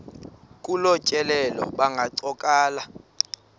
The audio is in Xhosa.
kolu tyelelo bangancokola